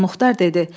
Ağamüxtar dedi: